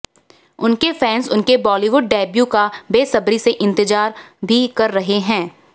उनके फैन्स उनके Bollywood debut का बेसब्री से इंतज़ार भी कर रहे हैं